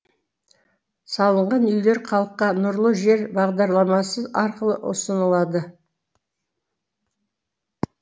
салынған үйлер халыққа нұрлы жер бағдарламасы арқылы ұсынылады